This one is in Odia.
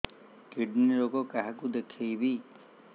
କିଡ଼ନୀ ରୋଗ କାହାକୁ ଦେଖେଇବି